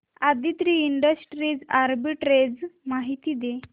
Aditri industries arbitrage माहिती दे